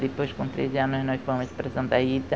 Depois, com três anos, nós fomos para Santa Rita,